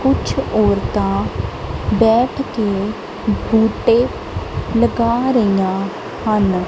ਕੁਛ ਔਰਤਾਂ ਬੈਠ ਕੇ ਬੂਟੇ ਲਗਾ ਰਹੀਆਂ ਹਨ।